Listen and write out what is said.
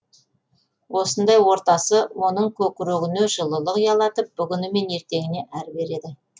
осындай ортасы оның көкірегіне жылылық ұялатып бүгіні мен ертеңіне әр береді